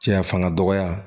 Cɛya fanga dɔgɔya